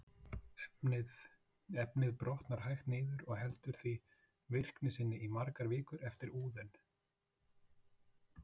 Efnið brotnar hægt niður og heldur því virkni sinni í margar vikur eftir úðun.